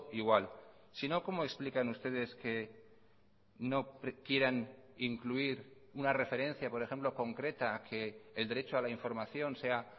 igual si no cómo explican ustedes que no quieran incluir una referencia por ejemplo concreta que el derecho a la información sea